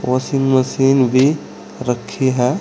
Washing machine भी रखी है।